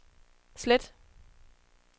slet